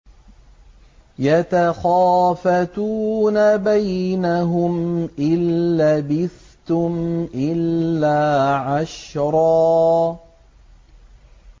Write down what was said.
يَتَخَافَتُونَ بَيْنَهُمْ إِن لَّبِثْتُمْ إِلَّا عَشْرًا